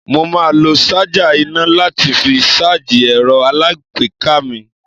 Mo máa lo ṣájà iná láti fi ṣáájì ẹ̀rọ alágbèéká mi.